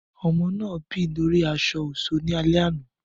Ọmọ naa bì lori aṣọ-ọṣọ ni alẹ ana